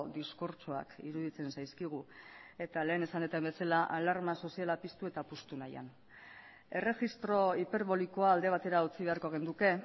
diskurtsoak iruditzen zaizkigu eta lehen esan dudan bezala alarma soziala piztu eta puztu nahian erregistro hiperbolikoa alde batera utzi beharko genuke